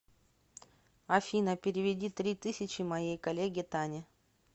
афина переведи три тысячи моей коллеге тане